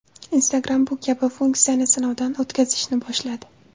Instagram bu kabi funksiyani sinovdan o‘tkazishni boshladi.